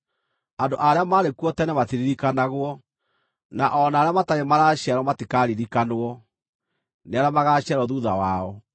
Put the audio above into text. Andũ arĩa maarĩ kuo tene matiririkanagwo, na o na arĩa matarĩ maraciarwo matikaaririkanwo nĩ arĩa magaaciarwo thuutha wao.